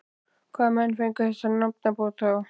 Hvaða menn fengu þessa nafnbót þá?